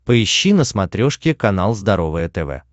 поищи на смотрешке канал здоровое тв